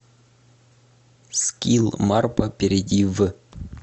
скилл марпа перейди в